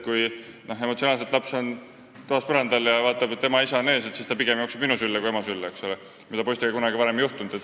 Kui laps on toas põrandal ja näeb enda ees isa, siis ta pigem jookseb minu kui ema sülle, mida varem poistega kunagi ei juhtunud.